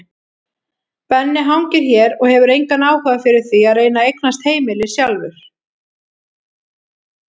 Benni hangir hér og hefur engan áhuga fyrir því að reyna að eignast heimili sjálfur.